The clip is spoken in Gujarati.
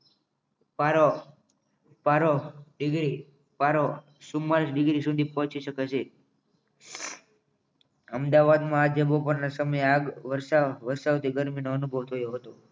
પારો પારો પારો ચુમાલિસ ડિગ્રી સુધી પહોંચી શકે છે અમદાવાદમાં આજના સમયે બાદ આગ વરસાવતી ગરમીનો અનુભવ થયો હતો